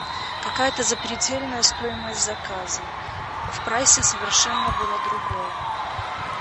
какая то запредельная стоимость заказа в прайсе совершенно было другое